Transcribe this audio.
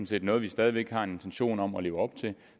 set noget vi stadig væk har en intention om at leve op til